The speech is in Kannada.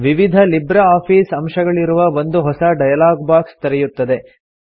ವಿವಿಧ ಲಿಬ್ರೆ ಆಫೀಸ್ ಅಂಶಗಳಿರುವ ಒಂದು ಹೊಸ ಡೈಲಾಗ್ ಬಾಕ್ಸ್ ತೆರೆಯುತ್ತದೆ